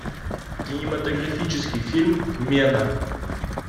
кинематографический фильм мена